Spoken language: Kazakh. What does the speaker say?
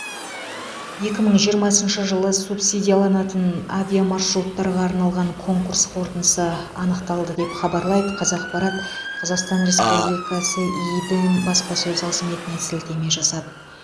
екі мың жиырмасыншы жылы субсидияланатын авиамаршруттарға арналған конкурс қорытындысы анықталды деп хабарлайды қазақпарат қазақстан республикасы идм баспасөз қызметіне сілтеме жасап